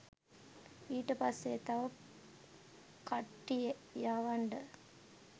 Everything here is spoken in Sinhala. ඊට පස්සේ තව කට්ටිය යවන්ඩ